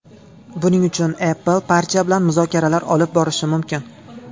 Buning uchun Apple partiya bilan muzokaralar olib borishi mumkin.